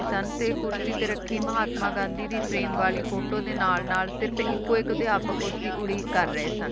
ਸਨ ਤੇ ਕੁਰਸੀ ਤੇ ਰੱਖੀ ਮਹਾਤਮਾ ਗਾਂਧੀ ਦੀ frame ਵਾਲੀ photo ਦੇ ਨਾਲ-ਨਾਲ ਸਿਰਫ ਇਕੋ ਇੱਕ ਅਧਿਆਪਕ ਉਸਦੀ ਉਡੀਕ ਕਰ ਰਹੇ ਸਨ